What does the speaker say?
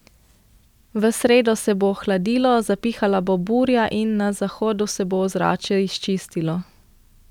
V sredo se bo ohladilo, zapihala bo burja in na zahodu se bo ozračje izčistilo.